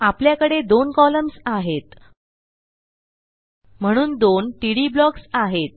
आपल्याकडे दोन कॉलम्स आहेत म्हणून दोन टीडी ब्लॉक्स आहेत